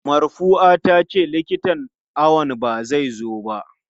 Marfua tace likitan awon ba zai zo ba.